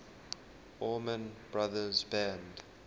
allman brothers band